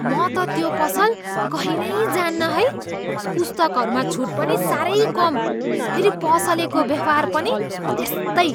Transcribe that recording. म त त्यो पसल कहिल्यै जान्न है! पुस्तकहरूमा छुट पनि साह्रै कम। फेरि पसलेको व्यवहार पनि त्यस्तै!